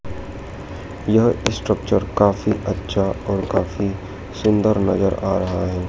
यह स्ट्रक्चर काफी अच्छा और काफी सुंदर नजर आ रहा है।